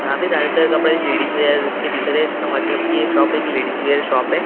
यहाँ पे ज़्यादातर कपड़े लेडीज वियर के दिख रहे हैं इसका मतलब कि ये शॉप एक लेडीज वियर शॉप हैं जहाँ।